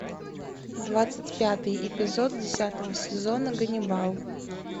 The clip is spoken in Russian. двадцать пятый эпизод десятого сезона ганнибал